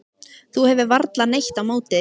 Þú hefur varla neitt á móti því?